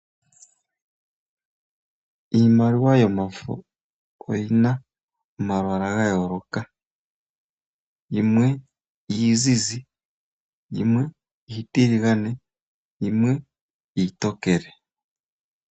Iimaliwa yo mafo oyina omalwalwa ga yooloka. Yimwe iizizi, yimwe iitiligane, yimwe iitokele.